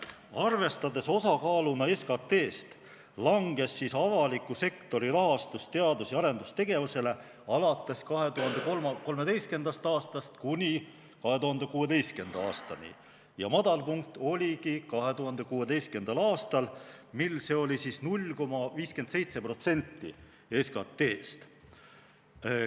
Arvestades osakaaluna SKT-st, langes avaliku sektori rahastus teadus- ja arendustegevusele alates 2013. aastast kuni 2016. aastani ja madalpunkt oligi 2016. aastal, mil see oli 0,57% SKT-st.